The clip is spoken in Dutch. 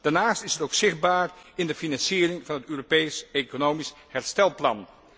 Daarnaast is het ook zichtbaar in de financiering van het Europees economisch herstelplan.